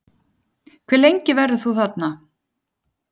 Hve lengi verður þú þarna?